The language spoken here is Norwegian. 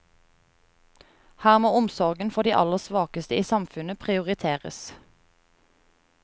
Her må omsorgen for de aller svakeste i samfunnet prioriteres.